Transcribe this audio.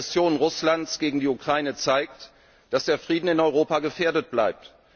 Die Aggression Russlands gegen die Ukraine zeigt, dass der Frieden in Europa gefährdet bleibt.